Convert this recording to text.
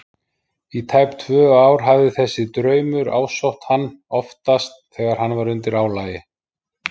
Í tæp tvö ár hafði þessi draumur ásótt hann- oftast þegar hann var undir álagi.